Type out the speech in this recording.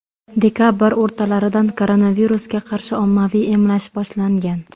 Dekabr o‘rtalaridan koronavirusga qarshi ommaviy emlash boshlangan.